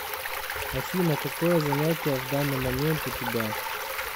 афина какое занятие в данный момент у тебя